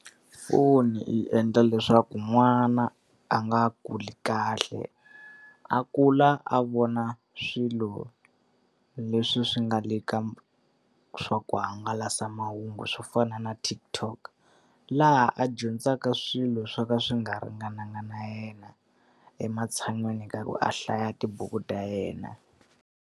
Foni yi endla leswaku n'wana a nga kuli kahle, a kula a vona swilo leswi swi nga le ka swa ku hangalasa mahungu swo fana na TikTok. Laha a dyondzaka swilo swo ka swi nga ringananga na yena, ematshan'wini ka ku a hlaya tibuku ta yena.